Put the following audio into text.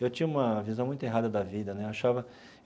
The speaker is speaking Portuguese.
Eu tinha uma visão muito errada da vida né eu achava.